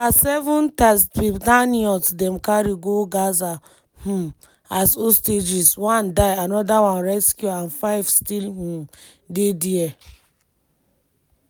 na seven tatzpitaniyot dem carry go gaza um as hostages one die anoda one rescue and five still um dey dia.